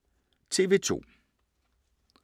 TV 2